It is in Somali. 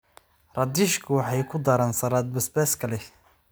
Radishku waxay ku daraan saladh basbaaska leh.